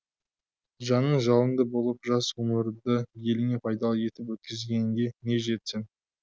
жаның жалынды болып жас ғұмырды еліңе пайдалы етіп өткізгенге не жетсін